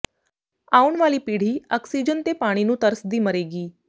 ਆਉਣ ਵਾਲੀ ਪੀੜ੍ਹੀ ਆਕਸੀਜਨ ਤੇ ਪਾਣੀ ਨੂੰ ਤਰਸਦੀ ਮਰੇਗੀ